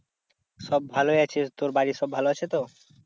সব ভালোই আছে। তোর বাড়ির সব ভালো আছে তো?